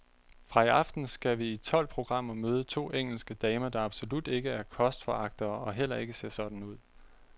Fra i aften skal vi i tolv programmer møde to engelske damer, der absolut ikke er kostforagtere og heller ikke ser sådan ud.